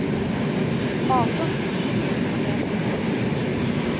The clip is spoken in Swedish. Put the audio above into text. arton tusen sexhundranio